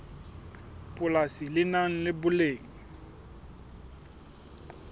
polasi le nang le boleng